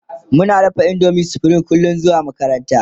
Muna dafa indomin supreme kullum zuwa makaranta